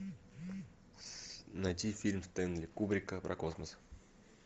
найти фильм стенли кубрика про космос